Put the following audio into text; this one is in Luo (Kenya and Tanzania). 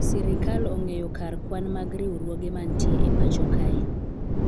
sirikal ong'eyo kar kwan mag riwruoge mantie e pacho kae